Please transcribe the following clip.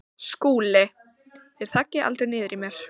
SKÚLI: Þér þaggið aldrei niður í mér.